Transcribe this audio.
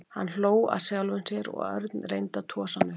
Hann hló að sjálfum sér og Örn reyndi að tosa hann upp.